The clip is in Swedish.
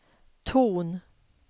ton